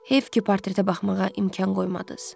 Heyf ki, portretə baxmağa imkan qoymadınız.